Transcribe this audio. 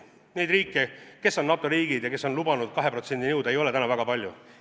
Neid riike, kes on NATO riigid ja kes on lubanud 2%-ni jõuda, ei ole täna väga palju.